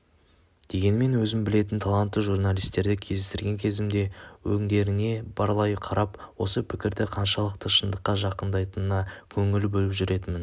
дегенмен өзім білетін талантты журналистерді кездестірген кезімде өңдеріне барлай қарап осы пікірдің қаншалықты шындыққа жақындайтынына көңіл бөліп жүретінім